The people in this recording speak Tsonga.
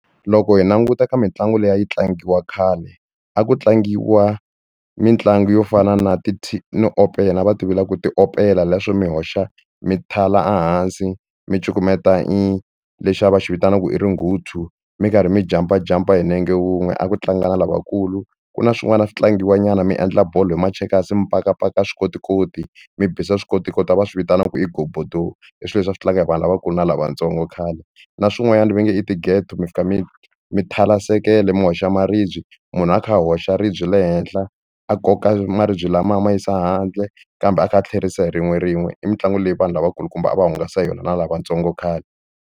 Loko hi languta ka mitlangu leyi a yi tlangiwa khale a ku tlangiwa mitlangu yo fana na ti no opela a va ti vula ku i tiopela leswo mi hoxa mi thala ehansi mi cukumeta i lexi va xi vitanaka ku i ringuthu mi karhi mi jampajampa hi nenge wun'we a ku tlanga na lavakulu ku na swin'wana a swi tlangiwa nyana mi endla bolo hi machekasi mi pakapaka swikotikoti mi bisa swikotikoti va swi vitanaka ku i ghobodo i swilo leswi a swi tlanga hi vanhu lavakulu na lavatsongo khale na swin'wanyana va nge i tigeto mi fika mi mi thala sekele mi hoxa maribye munhu a kha a hoxa ribye le henhla a koka maribye lama a ma yisa handle kambe a kha a tlherisa hi rin'we rin'we i mitlangu leyi vanhu lavakulukumba a va hungasa hi yona na lavatsongo khale.